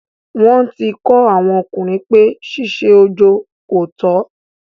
wọ́n ti kọ́ àwọn ọkùnrin pé ṣíṣe ojo kòtọ́.